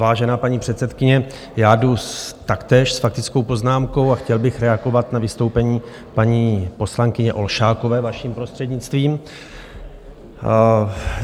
Vážená paní předsedkyně, já jdu taktéž s faktickou poznámkou a chtěl bych reagovat na vystoupení paní poslankyně Olšákové, vaším prostřednictvím.